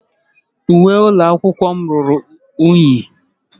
Uwe ụlọ akwụkwọ m ruru unyi.